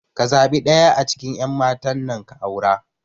Ka zaɓi ɗaya a cikin ƴan matan nan ka aura